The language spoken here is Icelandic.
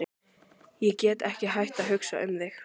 Ég get ekki hætt að hugsa um þig.